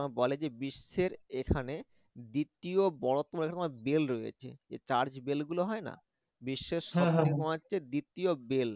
বলে যে বিশ্বের এখানে দ্বিতীয় বড় তোমার bell রয়েছে যে church bell গুলো হয় না বিশ্বের হচ্ছে দ্বিতীয় bell